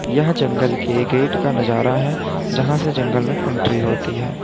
यह जंगल के गेट का नजारा है जहां से जंगल में एंट्री होती है।